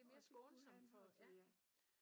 Og det kunne han også ja